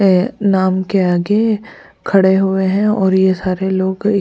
नाम के आगे खड़े हुए हैं और यह सारे लोग --